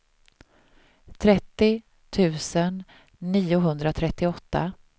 trettio tusen niohundratrettioåtta